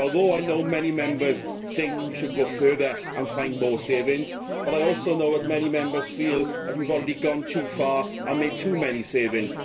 So, although I know many Members think we should go further and find more savings, I also know that many Members feel that we have already gone too far and made too many savings.